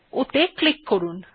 ওতে ক্লিক করুন